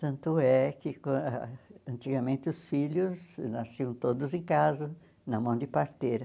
Tanto é que quan antigamente os filhos nasciam todos em casa, na mão de parteira.